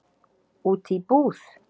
Út í búð?